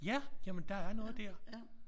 Ja jamen der er noget der